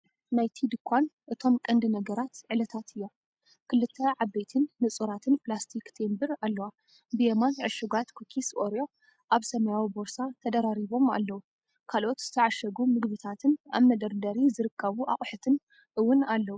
ናይቲ ድኳን። እቶም ቀንዲ ነገራት ዕለታት እዮም። ክልተ ዓበይትን ንጹራትን ፕላስቲክ ቴምብር ኣለዋ። ብየማን፡ ዕሹጋት ኩኪስ ኦሬዮ ኣብ ሰማያዊ ቦርሳ ተደራሪቦም ኣለዉ። ካልኦት ዝተዓሸጉ ምግብታትን ኣብ መደርደሪ ዝርከቡ ኣቑሑትን እውን ኣለዉ።